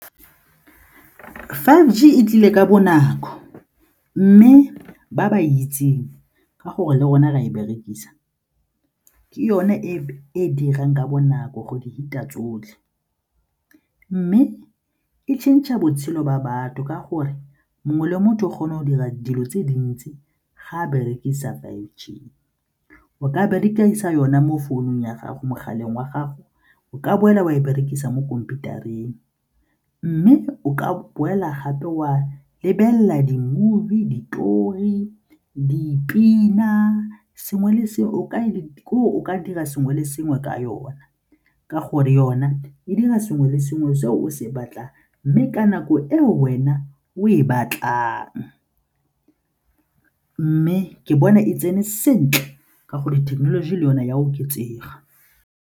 Give G e tlile ka bonako mme ba ba e itseng ka gore le rona ra e berekisa ke yone e dirang ka bonako go di feta tsotlhe mme e change-a botshelo ba batho ka gore mongwe le motho o kgona go dira dilo tse dintsi ga a berekisa five G. O ka berekisa yone mo founung ya gago mogaleng wa gago, o ka boela wa e berekisa mo khomphutareng mme o ka boela gape wa lebelela di-movie, ditori, dipina, sengwe le sengwe ke gore o ka dira sengwe le sengwe ka yona ka gore yona e dira sengwe le sengwe se o se batlang mme ka nako e wena o e batlang mme ke bona e tsene sentle ka gore thekenoloji le yone e a oketsega.